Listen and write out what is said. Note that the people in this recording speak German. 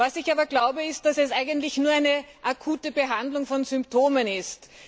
Dennoch glaube ich, dass dies eigentlich nur eine akute Behandlung von Symptomen ist.